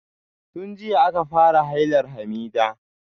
Tun jiya aka fara hailar Hamidah.